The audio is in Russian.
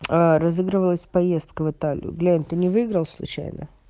разыгрывалась поездка в италию глянь ты ни выиграл случайно